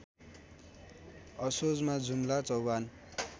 असोजमा जुम्ला चौभान